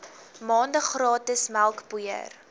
maande gratis melkpoeier